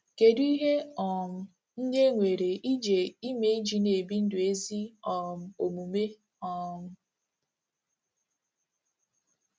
Kedu ihe um ndị e nwere ije ime iji na-ebi ndụ ezi um omume um?